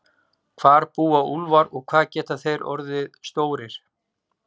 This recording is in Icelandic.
Hvar búa úlfar og hvað geta þeir orðið stórir?